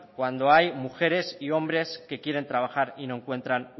cuando hay mujeres y hombres que quieren trabajar y no encuentran